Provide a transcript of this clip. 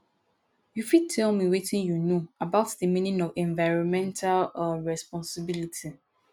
you fit tell me wetin you know about di meaning of environmental um responsibility